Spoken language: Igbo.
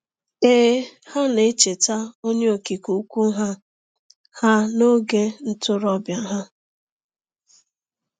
Ee, ha na-echeta Onye Okike Ukwu ha ha n’oge ntorobịa ha.